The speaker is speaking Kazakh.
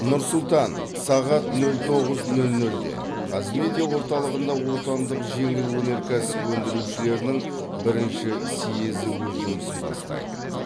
нұр сұлтан сағат нөл тоғыз нөл нөлде қазмедиа орталығында отандық жеңіл өнеркәсіп өндірушілерінің бірінші съезі өз жұмысын бастайды